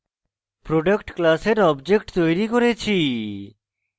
product class object তৈরী করছি